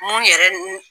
Mun yɛrɛ